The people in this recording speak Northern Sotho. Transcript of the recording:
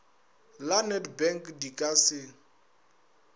la nedbank di ka se